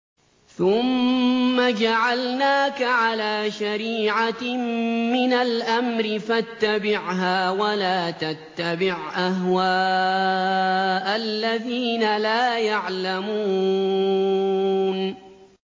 ثُمَّ جَعَلْنَاكَ عَلَىٰ شَرِيعَةٍ مِّنَ الْأَمْرِ فَاتَّبِعْهَا وَلَا تَتَّبِعْ أَهْوَاءَ الَّذِينَ لَا يَعْلَمُونَ